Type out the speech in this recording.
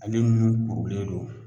Ale nun kurulen don